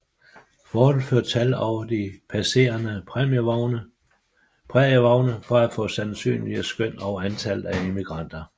Fortet førte tal over de passerende prærievogne for at få sandsynlige skøn om antallet af emigranter